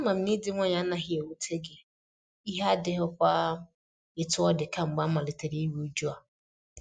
Ama m na ịdị nwayọ a anaghị ewute gị, ihe adighịkwa etu ọ dị kamgbe amalitere iru uju a.